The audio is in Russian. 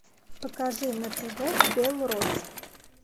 покажи на тв белрос